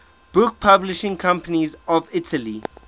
book publishing companies of italy